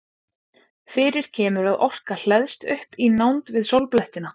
fyrir kemur að orka hleðst upp í nánd við sólblettina